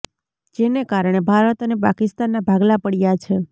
જેના કારણે ભારત અને પાકિસ્તાનના ભાગલા પડયા છે